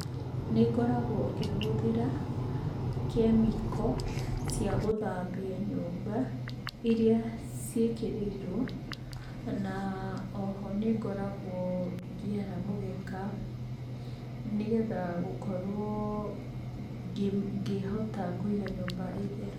Nĩngoragwo ngĩhũthĩra chemical cia gũthambia nyũmba iria ciĩkĩrĩirwo, na oho nĩngoragwo ngĩara mũgeka, nĩgetha gũkorwo ngĩhota kũiga nyũmba ĩtheru.